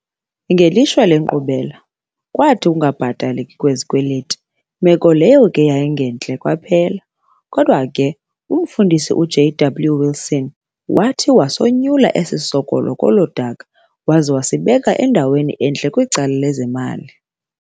Ngelishwa le nkqubela yathi yakhokelela lezikweleti, meko leyo eyayingentle kwaphela, kodwa ke umfundisi uJ.W wilson wathi wasonyula esi sikolo kolo daka, waza wasibeka endaweni entle kwicala lezezimali.